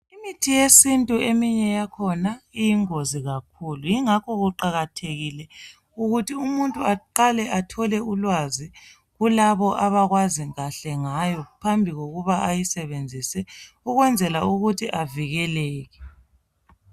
Imithi yesintu eminye yakhona iyingozi kakhulu yingakho kuqakathekile ukuthi umuntu aqale athole ulwazi kulabo abakwaziyo kahle ngayo phambi kokuba ayisebenzise ukwenzela ukuthi avikeleke.